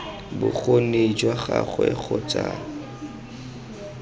bokgoni jwa gagwe kgotsa ii